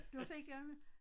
Da fik jeg